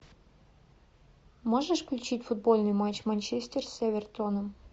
можешь включить футбольный матч манчестер с эвертоном